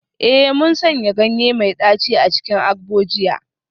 Eh, mun sanya ganye mai daci a cikin agbo jiya